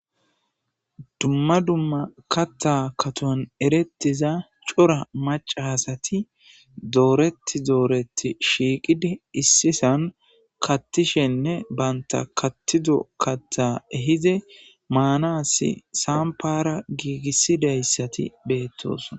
dumma dumma katta katoan erettiza cora macasati dooreti dooreti shiiqidi issisan kattishenne baynta kattido katta ehize maanasi saampara giigissidayssati beettosona